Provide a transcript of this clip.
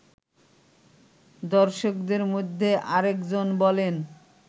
দর্শকদের মধ্যে আরেকজন বলেন